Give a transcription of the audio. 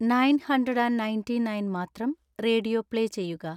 nine hundred and ninety nine മാത്രം radio play ചെയ്യുക